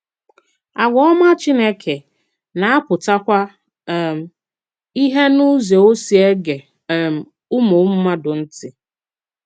Àgwà òmá Chínèkè na-apụtakwà um ìhè n’ùzò ọ̀ si ege um ùmụ̀ mmàdù ntị.